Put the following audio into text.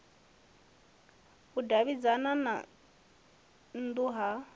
u davhidzana na nnu ya